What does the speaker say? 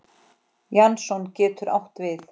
Jason getur átt við